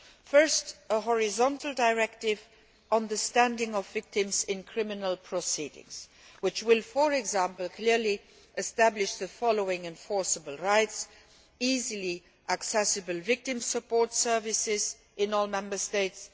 Firstly, a horizontal directive on the standing of victims in criminal proceedings, which will, for example, clearly establish the following enforceable rights easily accessible victim support services in all Member States